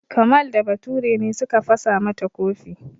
Kamal da Bature ne suka fasa mata kofi.